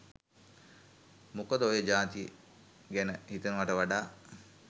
මොකද ඔය ජාතිය ගැන හිතනවට වඩා